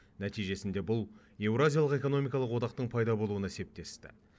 нәтижесінде бұл еуразиялық экономикалық одақтың пайда болуына септесті